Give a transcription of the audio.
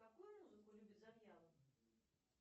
какую музыку любит завьялов